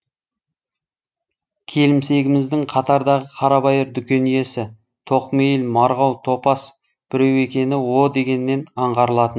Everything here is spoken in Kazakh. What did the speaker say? келімсегіміздің қатардағы қарабайыр дүкен иесі тоқмейіл марғау топас біреу екені о дегеннен аңғарылатын